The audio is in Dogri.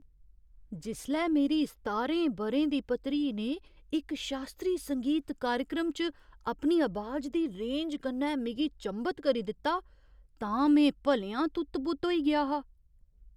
जिसलै मेरी सतारें ब'रें दी भतरी ने इक शास्त्रीय संगीत कार्यक्रम च अपनी अबाज दी रेंज कन्नै मिगी चंभत करी दित्ता तां में भलेआं तुत्त बुत्त होई गेआ हा।